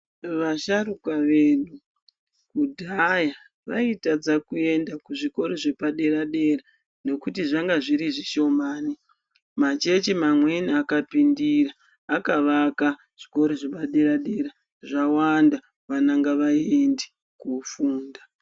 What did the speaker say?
Vasharukwa vedu kudhaya vaitadza kuenda kuzvikora zvepadera dera nekuti zvanga zviri zvishomani machechi amweni akapindira akavaka zvikora zvepadera dera zvawanda vana ngavaende kofunda.